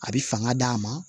A bɛ fanga d'a ma